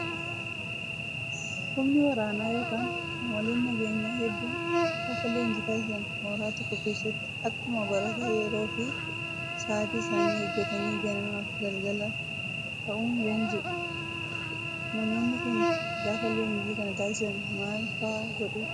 Humni waraanaa yookaan qaamoleen nageenyaa hedduun gaafa leenjii taasisan mooraa tokko keessatti akkuma barataa yeroo fi sa'aatii isaanii eeggatanii ganamaa fi galgala ka'uun leenji'u. Namoonni Kun gaafa leenjii kana taasisan maal fa'aa godhuu?